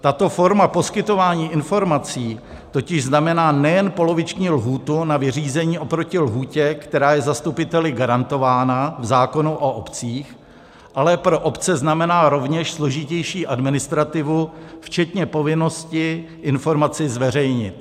Tato forma poskytování informací totiž znamená nejen poloviční lhůtu na vyřízení oproti lhůtě, která je zastupiteli garantována v zákonu o obcích, ale pro obce znamená rovněž složitější administrativu včetně povinnosti informaci zveřejnit.